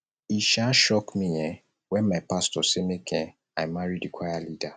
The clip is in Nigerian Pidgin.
e um shock me um wen my pastor say make um i marry di choir leader